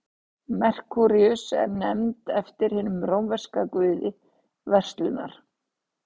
merkúríus er nefnd eftir hinum rómverska guði verslunar